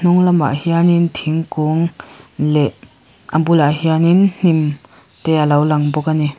hnung lamah hian in thingkung leh a bulah hian in hnim te alo lang bawk ani.